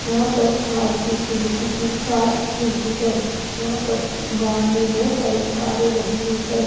यहां पर मारुति सुजुकी की कार्स मिलती है यहां पर बाहर में बहोत सारी कारे लगी हुई हैं।